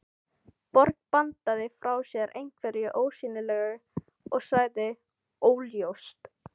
Björg bandaði frá sér einhverju ósýnilegu og sagði: Óljóst.